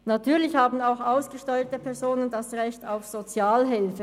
Natürlich haben auch ausgesteuerte Personen das Recht auf Sozialhilfe.